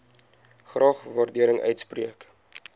graag waardering uitspreek